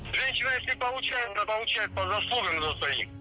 женщина если получает то получает по заслугам